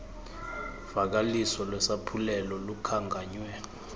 vakaliso lwesaphulelo lukhankanywe